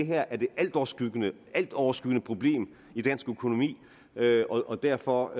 her er det altoverskyggende altoverskyggende problem i dansk økonomi og derfor